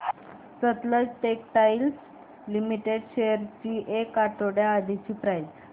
Sutlej textiles limited shares ची एक आठवड्या आधीची प्राइस